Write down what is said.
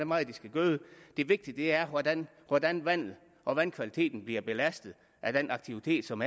meget de skal gøde det vigtige er hvordan hvordan vandet og vandkvaliteten bliver belastet af den aktivitet som